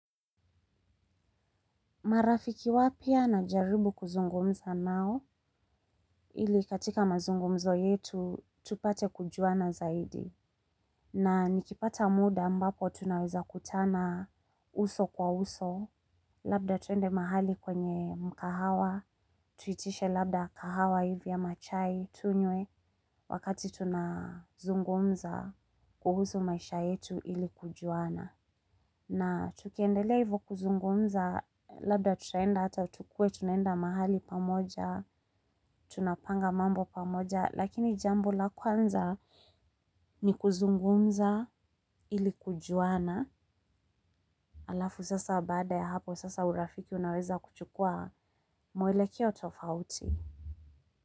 Marafiki wapya najaribu kuzungumza nao ili katika mazungumzo yetu tupate kujuana zaidi. Na nikipata muda ambapo tunaweza kutana uso kwa uso. Labda tuende mahali kwenye mkahawa tuitishe labda kahawa hivi ama chai tunywe wakati tunazungumza kuhusu maisha yetu ili kujuana. Na tukiendelea hivo kuzungumza, labda tutaenda hata tukuwe tunaenda mahali pamoja, tunapanga mambo pamoja, lakini jambo la kwanza ni kuzungumza ili kujuana, alafu sasa baada ya hapo sasa urafiki unaweza kuchukua mwelekeo tofauti.